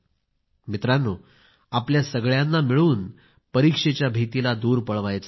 मित्रांनो आपल्या सगळ्यांना मिळून परीक्षेच्या भीतीला दूर पळवायचे आहे